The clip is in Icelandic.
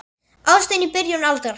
Ást í byrjun aldar